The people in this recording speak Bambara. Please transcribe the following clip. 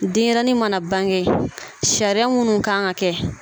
Denɲɛrɛnin mana bange sariya munnu kan ka kɛ.